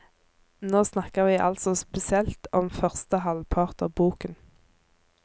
Nå snakker vi altså spesielt om første halvpart av boken.